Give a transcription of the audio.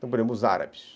Por exemplo, os árabes.